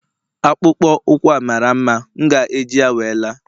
akpụkpọ ụkwụ a mara mma, m ga-eji ya wee la